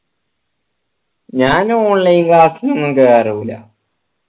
ഞാൻ online class ൽ ഒന്ന് കേറൂല